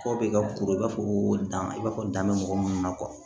Kɔ bɛ ka kuru i b'a fɔ ko dan i b'a fɔ dan bɛ mɔgɔ minnu na